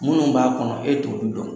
Minnu b'a kɔnɔ e t'olu dɔn